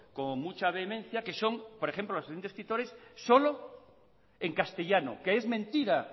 con mucha vehemencia que son por ejemplo la asociación de escritores solo en castellano que es mentira